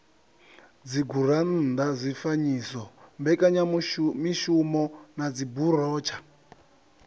dzigurannḓa zwifanyiso mbekanyamishumo na dziburotsha